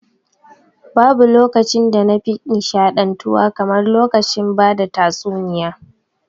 Babu lokacin da na fi nshaɗantuwa kamar lokacin ba da tasuniya